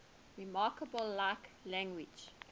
remarkably like language